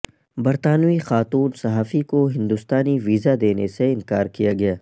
برطانوی خاتون صحافی کو ہندوستانی ویزا دینے سے انکار کیا گیا